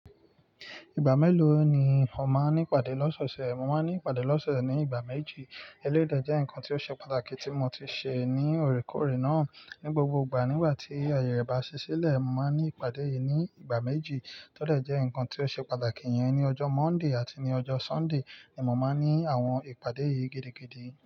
Ìgbà mélòó ni ọ̀ máa ń ní ìpàdé lọ́sọ̀ọ̀sẹ̀? Mo máa ń ní ìpàdé lọ́sọ̀ọ̀sẹ̀ ní ìgbà méjì. Eléyi de jẹ́ nǹkan tí ó ṣe pàtàkì tí mo ti ṣe ní òrékòórè náà. Ní gbogbo ìgbà, nígbà tí ayẹ re bá ṣí sílẹ̀, mo máa ń ní ìpàdé yìí ní ìgbà méjì. Tọ́dẹ̀ jẹ́ nǹkan tí ó ṣe pàtàkì yẹn ni ọjọ́ Monday àti ní ọjọ́ Sunday ni mo máa ń ní àwọn ìpàdé yìí gidigidi.